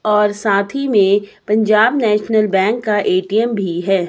और साथ ही में पंजाब नेशनल बैंक का ए_टी_एम भी है।